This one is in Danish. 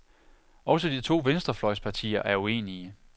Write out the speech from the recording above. Også de to venstrefløjspartier er uenige.